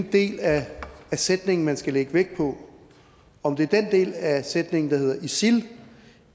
del af sætningen man skal lægge vægt på om det er den del af sætningen der hedder isil